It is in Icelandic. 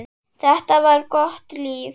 Þetta var gott líf.